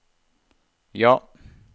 ja